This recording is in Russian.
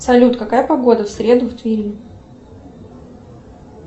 салют какая погода в среду в твери